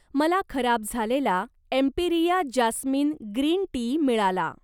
मला खराब झालेला एम्पिरिया जास्मिन ग्रीन टी मिळाला.